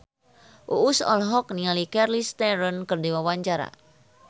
Uus olohok ningali Charlize Theron keur diwawancara